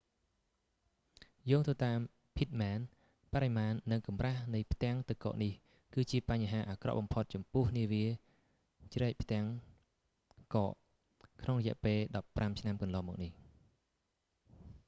យោងទៅតាម pittman បរិមាណនិងកម្រាស់នៃផ្ទាំងទឹកកកនេះ គឺជាបញ្ហាអាក្រក់បំផុតចំពោះនាវាជ្រែកផ្ទាំងកក ក្នុងរយៈពេល 15 ឆ្នាំកន្លងមកនេះ